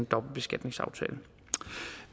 dobbeltbeskatningsaftale